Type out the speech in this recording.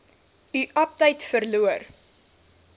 u aptyt verloor